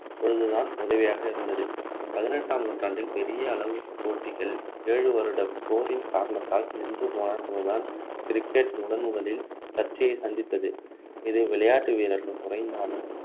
அப்பொழுதுதான் உதவியாக இருந்தது பதினெட்டாம் நூற்றாண்டில் பெரிய அளவு போட்டிகள் ஏழு வருட போரின் காரணத்தால் நின்று போன போதுதான் cricket முதன்முதலில் சர்ச்சையை சந்தித்தது இது விளையாட்டு வீரர்கள் குறைந்தாலும்